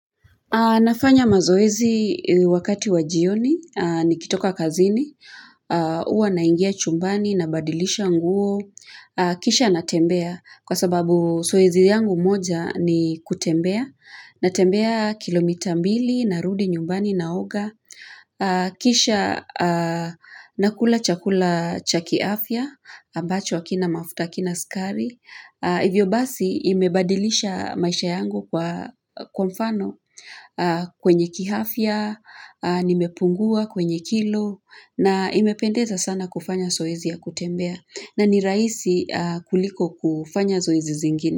Nafanya mazoezi wakati wa jioni, nikitoka kazini, huwa naingia chumbani, nabadilisha nguo, kisha natembea, kwa sababu zoezi yangu moja ni kutembea, natembea kilomita mbili, narudi, nyumbani, naoga, kisha nakula chakula cha kiafya, abacho hakina mafuta, hakina sukari. Hivyo basi imebadilisha maisha yangu, kwa mfano kwenye kiafya, nimepungua kwenye kilo, na imependeza sana kufanya zoezi ya kutembea na ni rahisi kuliko kufanya zoezi zingine.